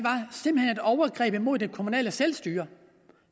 overgreb imod det kommunale selvstyre